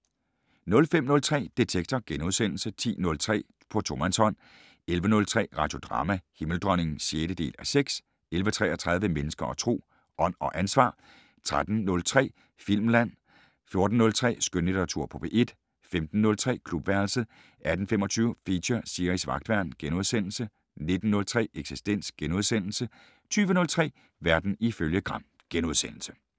05:03: Detektor * 10:03: På tomandshånd 11:03: Radiodrama: Himmeldronningen (6:6) 11:33: Mennesker og Tro: Ånd og ansvar 13:03: Filmland 14:03: Skønlitteratur på P1 15:03: Klubværelset 18:25: Feature: Siris Vagtværn * 19:03: Eksistens * 20:03: Verden ifølge Gram *